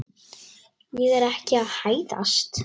Ég er ekki að hæðast.